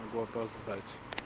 могу опоздать